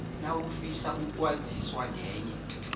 nawufisa ukwaziswa ngenye